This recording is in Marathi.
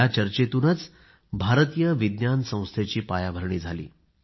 या चर्चेतूनच भारतीय विज्ञान संस्थेची पायाभरणी झाली